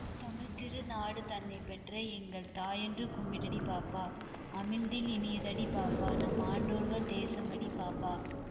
தமிழ்த்திரு நாடுதன்னைப் பெற்ற எங்கள் தாயென்று கும்பிடடி பாப்பா அமிழ்தில் இனியதடி பாப்பா நம் ஆன்றோர்கள் தேசமடி பாப்பா